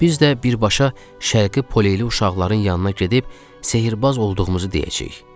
Biz də birbaşa şərqi poleli uşaqların yanına gedib sehrbaz olduğumuzu deyəcəyik.